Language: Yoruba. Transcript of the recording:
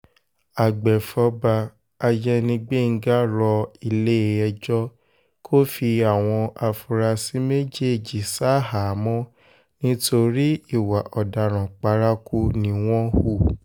àgbẹ̀fọ́fà àyẹni gbẹ́ngà rọ ilé-ẹjọ́ kò fi àwọn afurasí méjèèjì ṣaháàmọ̀ nítorí ìwà ọ̀daràn paraku ni wọ́n hù